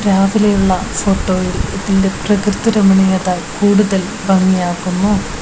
രാവിലെയുള്ള ഫോട്ടോയിൽ ഇതിന്റെ പ്രകൃതി രാമണീയത കൂടുതൽ ഭംഗി ആക്കുന്നു.